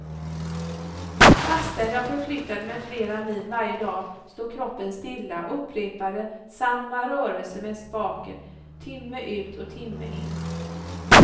Fastän jag förflyttade mig flera mil varje dag stod kroppen stilla och upprepade samma rörelser med spaken timme ut och timme in.